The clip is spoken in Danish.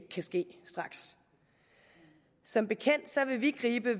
kan ske straks som bekendt vil vi gribe